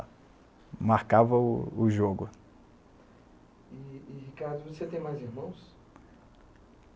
marca o jogo. E e Ricardo, você tem mais irmãos?